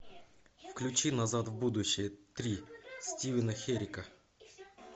включи назад в будущее три стивена херрика